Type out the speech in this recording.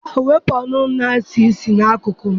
Daalụ! wepụ ọnụ na-esi isi n'akụkụ m.